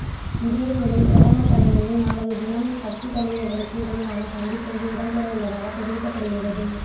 இதேவேளை பிரதமர் தலைமையில் நாளைய தினம் கட்சித் தலைவர்களுக்கு இடையிலான சந்திப்பொன்று இடம்பெறவுள்ளதாக தெரிவிக்கப்படுகின்றது